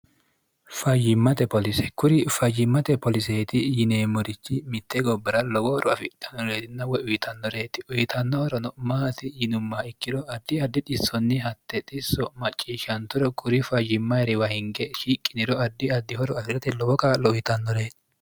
fayyimmate polise kuri fayyimmate poliseeti yineemmorichi mitte gobbora lowohoro afidannoreetinna woye uyitannoreeti uyitannohorono maati yinumma ikkiro addi addi dhissonni hatte dhisso macciishshanturo kuri fayyimmahiriwa hinge shiiqqiniro addi addihoro afi'rate lowo qaa'lo uyitannoreeti